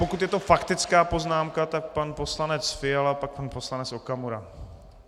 Pokud je to faktická poznámka, tak pan poslanec Fiala, pak pan poslanec Okamura.